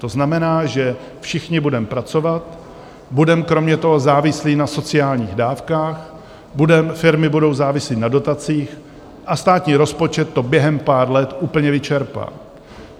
To znamená, že všichni budeme pracovat, budeme kromě toho závislí na sociálních dávkách, firmy budou závislé na dotacích a státní rozpočet to během pár let úplně vyčerpá.